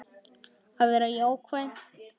Að vera jákvæð.